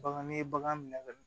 Bagan ni ye bagan minɛ ka